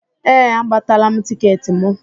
Ee, agbatala m tịketị mụ